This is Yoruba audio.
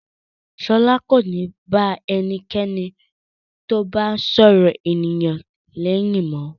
Ṣọlá kò ní bá ẹnikẹ́ni tó bá ń sọ̀rọ̀ ènìyàn lẹ́yìn mọ́.